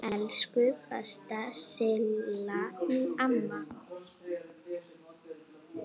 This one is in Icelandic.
Elsku besta Silla amma.